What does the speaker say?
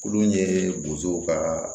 Olu ye bozow ka